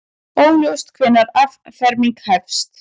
Óljóst hvenær afferming hefst